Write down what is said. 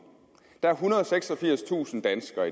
der er ethundrede og seksogfirstusind danskere